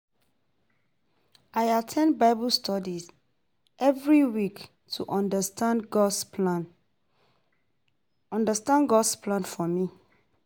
I at ten d Bible study every week to understand God’s plan understand God’s plan for me.